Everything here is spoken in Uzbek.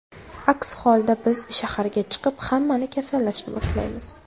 Aks holda biz shaharga chiqib, hammani kasallashni boshlaymiz.